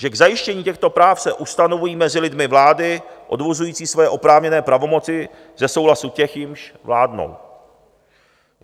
Že k zajištění těchto práv se ustanovují mezi lidmi vlády odvozující svoje oprávněné pravomoci ze souhlasu těch, jimž vládnou.